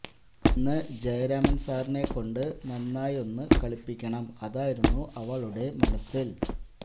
ഇന്ന് ജയരാമൻ സാറിനെ കൊണ്ടു നന്നായി ഒന്നു കളിപ്പിക്കണം അതായിരുന്നു അവളുടെ മനസിൽ